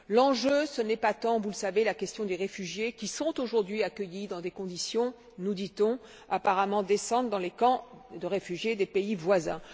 L'enjeu n'est pas tant, vous le savez, la question des réfugiés qui sont, aujourd'hui, accueillis dans des conditions nous dit on apparemment décentes dans les camps de réfugiés des pays voisins.